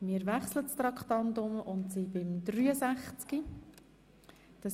Wir wechseln zu Traktandum 63.